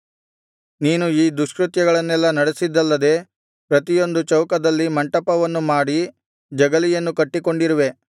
ನೀನು ಈ ದುಷ್ಕೃತ್ಯಗಳನ್ನೆಲ್ಲಾ ನಡೆಸಿದ್ದಲ್ಲದೆ ಪ್ರತಿಯೊಂದು ಚೌಕದಲ್ಲಿ ಮಂಟಪವನ್ನು ಮಾಡಿ ಜಗಲಿಯನ್ನು ಕಟ್ಟಿಕೊಂಡಿರುವೆ